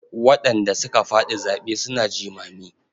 Waɗanda suka faɗi zaɓe suna jimami.